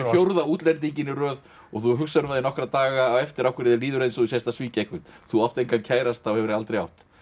fjórða útlendinginn í röð og þú hugsar um það í nokkra daga á eftir af hverju þér líður eins og þú sért að svíkja einhvern þú átt engan kærasta og hefur aldrei átt